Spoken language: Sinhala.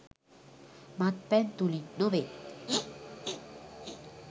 මත්පැන් තුළින් නොවේ.